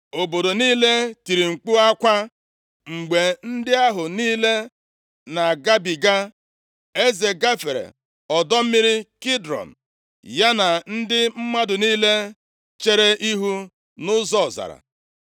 Obodo niile tiri mkpu akwa mgbe ndị ahụ niile na-agabiga. Eze gafere ọdọ mmiri Kidrọn, ya na ndị mmadụ niile chere ihu nʼụzọ ọzara.